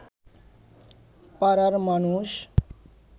পাড়ার মানুষ